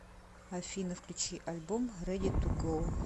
афина включи альбом рэди ту гоу